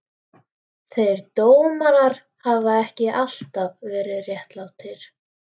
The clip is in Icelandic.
Þeir dómar hafa ekki alltaf verið réttlátir.